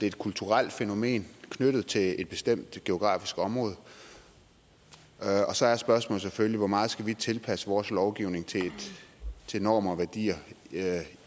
et kulturelt fænomen knyttet til et bestemt geografisk område og så er spørgsmålet selvfølgelig hvor meget vi skal tilpasse vores lovgivning til normer og værdier